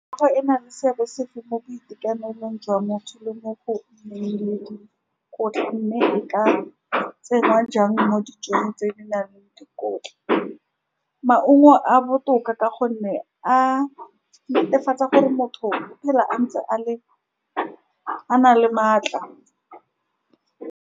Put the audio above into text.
Ena le seabe sefe mo boitekanelong jwa motho le mo go nneng le dikotla, mme e ka tsenngwa jang mo dijong tse di nang le dikotla, maungo a botoka, ka gonne a netefatsa gore motho o phela a ntse a le, a na le maatla.